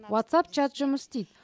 ватсап чат жұмыс істейді